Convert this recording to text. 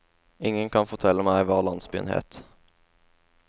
Ingen kan fortelle meg hva landsbyen het.